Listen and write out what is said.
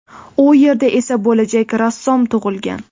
U yerda esa bo‘lajak rassom tug‘ilgan.